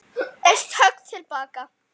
Eitt högg til baka.